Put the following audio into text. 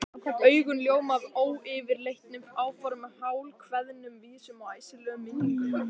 Augun ljóma af ófyrirleitnum áformum, hálfkveðnum vísum og æsilegum minningum.